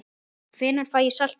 Hvenær fæ ég saltið?